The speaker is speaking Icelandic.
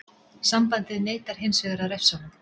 Sambandið neitar hinsvegar að refsa honum.